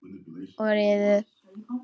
Og riðuðu.